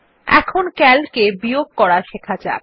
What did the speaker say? এখন Calc এ বিয়োগ করা শেখা যাক